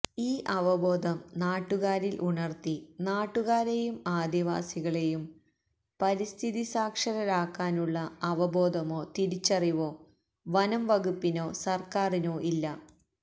ഈ അവബോധം നാട്ടുകാരില് ഉണര്ത്തി നാട്ടുകാരേയും ആദിവാസികളേയും പരിസ്ഥിതി സാക്ഷരരാക്കാനുള്ള അവബോധമോ തിരിച്ചറിവോ വനംവകുപ്പിനോ സര്ക്കാരിനോ ഇല്ല